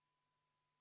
Vabandust!